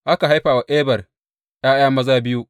Aka haifa wa Eber ’ya’ya maza biyu.